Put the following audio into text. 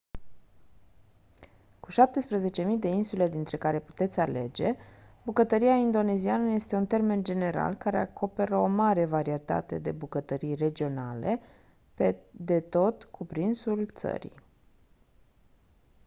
cu 17.000 de insule dintre care puteți alege bucătăria indoneziană este un termen general care acoperă o mare varietate de bucătării regionale pe de tot cuprinsul țării